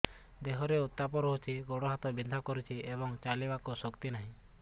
ଦେହରେ ଉତାପ ରହୁଛି ଗୋଡ଼ ହାତ ବିନ୍ଧା କରୁଛି ଏବଂ ଚାଲିବାକୁ ଶକ୍ତି ନାହିଁ